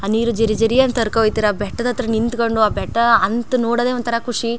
ಆ ನೀರು ಜರಿ ಜರಿ ಅಂತ ಹರ್ ಕೋ ಹೋಯ್ ತಿರ್ ಬೆಟ್ಟದತ್ರ ನಿಂತಕೊಂಡು ಆ ಬೆಟ್ಟಾ ಅಂತ್ ನೋಡೋದೆ ಒಂತರ ಖುಷಿ .